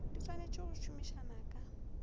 di swanetse go somisana ka